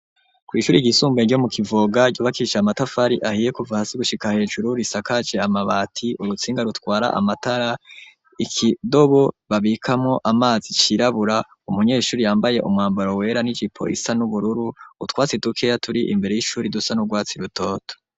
Kwishuri ry'isumbuye ryo mu Kivoga ryubakishe amatafari ahiye kuva hasi gushika hejuru risakaje amabati urutsinga rutwara amatara ikidobo babikamo amazi cirabura umunyeshuri yambaye umwambaro wera n'ijipi isa n'ubururu utwatsi tukeya turi imbere y'ishuri dusa n'urwatsi rutoto.